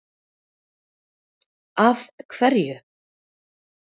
Símon Birgisson: Af hverju?